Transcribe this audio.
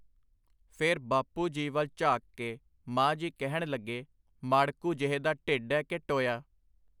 ਫਿਰ ਬਾਪੂ ਜੀ ਵੱਲ ਝਾਕ ਕੇ ਮਾਂ ਜੀ ਕਹਿਣ ਲੱਗੇ, ਮਾੜਕੂ ਜਿਹੇ ਦਾ ਢਿੱਡ ਐ ਕਿ ਟੋਇਆ.